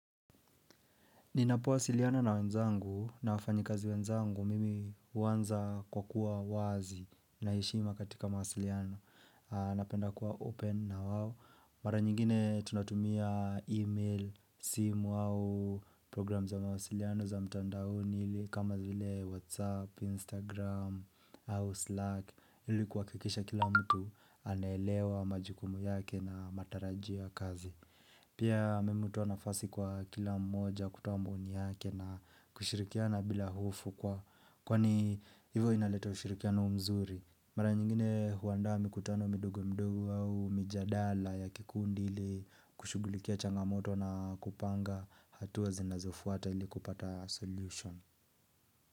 Ninapowasiliana na wenzangu na wafanyikazi wenzangu mimi huanza kwa kuwa wazi na heshima katika mahasiliano. Napenda kuwa open na hao. Mara nyingine tunatumia email, simu au program za mawasiliano za mtandaoni kama zile Whatsapp, Instagram au Slack. Ili kuhakikisha kila mtu anaelewa majukumu yake na matarajio ya kazi. Pia mmetoa nafasi kwa kila mmoja kutoa maoni yake na kushirikiana bila hofu kwa Kwani Ninapowasiliana na wenzangu na wafanyikazi wenzangu mimi huanza kwa kuwa wazi na heshima katika mawasiliano.